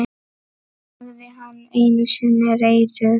sagði hann einu sinni reiður.